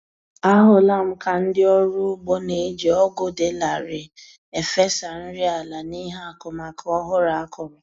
Ahụla m ka ndị ọrụ ugbo na-eji ọgụ dị larịị efesa nri ala n'ihe akụmakụ ọhụrụ a kụrụ